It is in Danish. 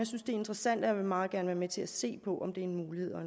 synes det er interessant og jeg vil meget gerne være med til at se på om det er en mulighed og